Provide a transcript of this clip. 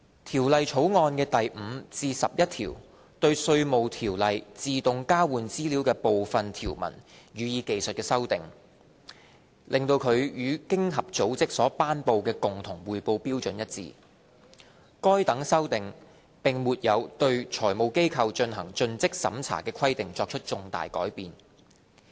《條例草案》的第5至11條對《稅務條例》自動交換資料的部分條文予以技術修訂，令其與經濟合作與發展組織所頒布的共同匯報標準一致，該等修訂並沒有對財務機構進行盡職審查的規定作出重大改變。